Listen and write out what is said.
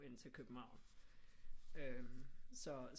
End til København så